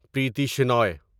Preeti Shenoy